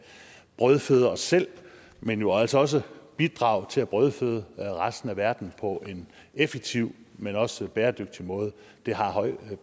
brødføde os selv men jo altså også bidrage til at brødføde resten af verden på en effektiv men også bæredygtig måde det har høj